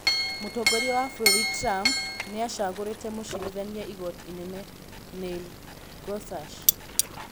Mũtongoria wa bũrũri Trump nĩacagũrĩte mũcirithania igooti inene Neil Gorsuch.